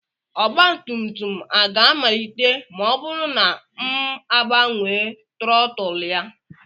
Ọgba tum tum a ga-amalite ma ọ bụrụ na m agbanwe trọtụl ya?